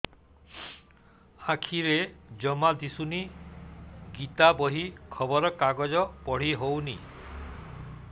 ଆଖିରେ ଜମା ଦୁଶୁନି ଗୀତା ବହି ଖବର କାଗଜ ପଢି ହଉନି